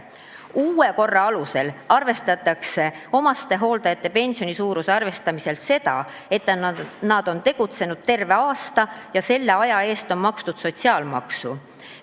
Uue korra alusel võetakse omastehooldaja pensioni suuruse arvestamisel arvesse seda, et ta on tegutsenud terve aasta ja selle aja eest on makstud sotsiaalmaksu.